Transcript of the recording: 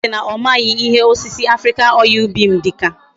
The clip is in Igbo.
Enyi si na omaghi ihe osisi African oil bean dika